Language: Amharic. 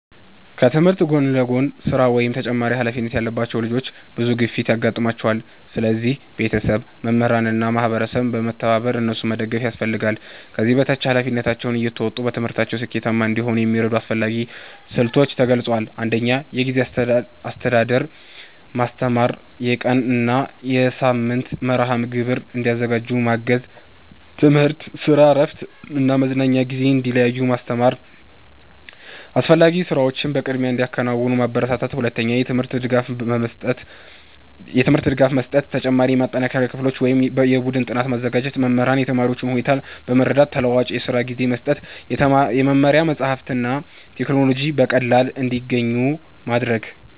ከትምህርት ጎን ለጎን ስራ ወይም ተጨማሪ ኃላፊነት ያለባቸው ልጆች ብዙ ግፊት ያጋጥማቸዋል። ስለዚህ ቤተሰብ፣ መምህራን እና ማህበረሰብ በመተባበር እነሱን መደገፍ ያስፈልጋል። ከዚህ በታች ኃላፊነታቸውን እየተወጡ በትምህርትም ስኬታማ እንዲሆኑ የሚረዱ አስፈላጊ ስልቶች ተገልጸዋል። 1. የጊዜ አስተዳደር ማስተማር የቀን እና የሳምንት መርሃ ግብር እንዲያዘጋጁ ማገዝ። ትምህርት፣ ስራ፣ እረፍት እና መዝናኛ ጊዜ እንዲለዩ ማስተማር። አስፈላጊ ስራዎችን በቅድሚያ እንዲያከናውኑ ማበረታታት። 2. የትምህርት ድጋፍ መስጠት ተጨማሪ የማጠናከሪያ ክፍሎች ወይም የቡድን ጥናት ማዘጋጀት። መምህራን የተማሪዎቹን ሁኔታ በመረዳት ተለዋዋጭ የስራ ጊዜ መስጠት። የመማሪያ መጻሕፍትና ቴክኖሎጂ በቀላሉ እንዲያገኙ ማድረግ።